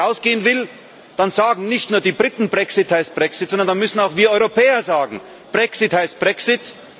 Wenn ein Land rausgehen will, dann sagen nicht nur die Briten Brexit heißt Brexit, sondern dann müssten auch wir Europäer sagen Brexit heißt Brexit.